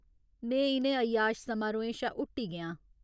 में इ'नें अय्याश समारोहें शा हुट्टी गेआं।